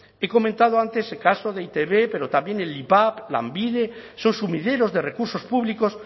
he comentado antes el caso de e i te be pero también el ivap lanbide son sumideros de recursos públicos